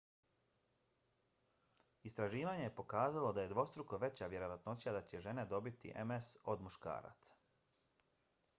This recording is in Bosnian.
istraživanje je pokazalo da je dvostruko veća vjerovatnoća da će žene dobiti ms od muškaraca